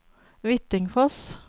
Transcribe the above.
Hvittingfoss